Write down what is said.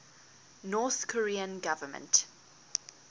north korean government